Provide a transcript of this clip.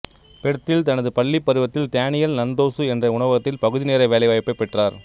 பெர்த்தில் தனது பள்ளிப் பருவத்தில் தேனியல் நன்தோசு என்ற ஒரு உணவகத்தில் பகுதிநேர வேலைவாய்ப்பைப் பெற்றார்